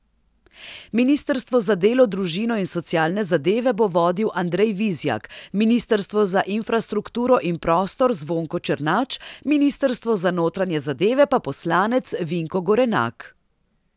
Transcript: Ministrstvo za delo, družino in socialne zadeve bo vodil Andrej Vizjak, ministrstvo za infrastrukturo in prostor Zvonko Černač, ministrstvo za notranje zadeve pa poslanec Vinko Gorenak.